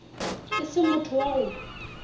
e se motho wa go